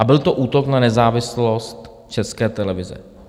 A byl to útok na nezávislost České televize.